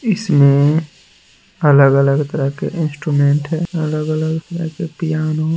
इसमें अलग-अलग तरह के इंस्ट्रूमेंट है अलग-अलग तरह के पियानो --